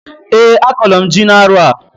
Eeǃ A kọlụ m ji n'arọ a.